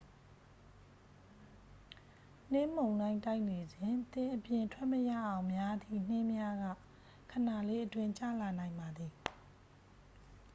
နှင်းမုန်တိုင်းတိုက်နေစဉ် သင်အပြင်ထွက်မရအောင်များသည့် နှင်းများက ခဏလေးအတွင်း ကျလာနိုင်ပါသည်